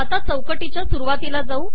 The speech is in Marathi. चौकटीच्या सुरुवातीला जाऊ